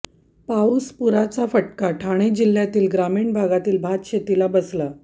पाऊस पुराचा फटका ठाणे जिल्ह्यातील ग्रामीण भागातील भातशेतीला बसला